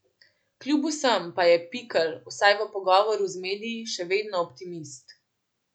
Kljub vsem pa je Pikl, vsaj v pogovoru z mediji, še vedno optimist.